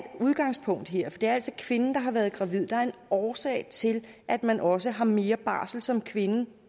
udgangspunkt her for det er altså kvinden der har været gravid der er en årsag til at man også har mere barsel som kvinde